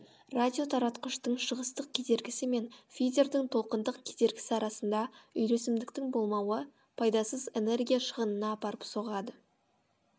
радиотаратқыштың шығыстық кедергісі мен фидердің толқындық кедергісі арасында үйлесімдіктің болмауы пайдасыз энергия шығынына апарып соғады